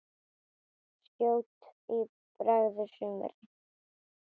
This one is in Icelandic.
Skjótt bregður sumri.